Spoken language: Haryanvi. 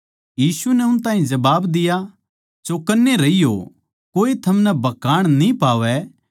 यीशु नै उन ताहीं जबाब दिया चौकन्ने रहियो कोए थमनै भकाण न्ही पावै